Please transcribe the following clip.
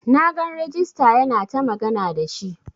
Na gan regista yana ta magana da shi.